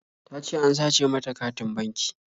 Ta ce an sace mata katin banki